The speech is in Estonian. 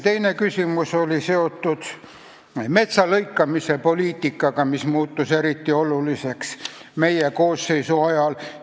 Teine küsimus on seotud metsalõikamise poliitikaga, mis muutus eriti oluliseks meie koosseisu ajal.